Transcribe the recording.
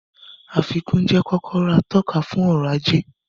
Àfikún jẹ́ kọ́kọ́rọ́ atọ́ka fún ọrọ̀ ajé